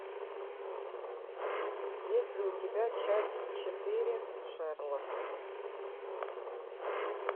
есть ли у тебя часть четыре шерлок